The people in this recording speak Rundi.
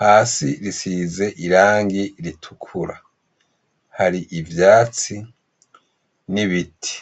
Hasi bisize irangi ritukura. Hari ivyatsi n'ibiti.